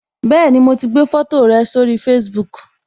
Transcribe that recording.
Bẹẹni, mo ti gbé foto rẹ sórí Facebook